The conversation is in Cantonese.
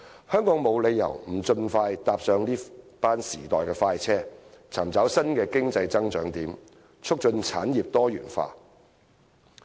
香港沒有理由不盡快搭上這趟時代快車，尋找新的經濟增長點，促進產業多元化。